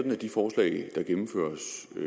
en